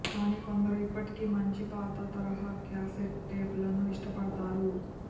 కానీ కొందరు ఇప్పటికీ మంచి పాత తరహా క్యాసెట్ టేపులను ఇష్టపడతారు